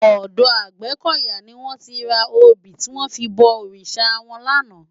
Òdò Agbekoya ni wòn ti rá óbi tiwòn fi bò órisá wòn làná